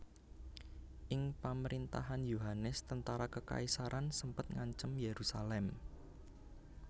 Ing pamerintahan Yohanes tentara kekaisaran sempet ngancem Yerusalem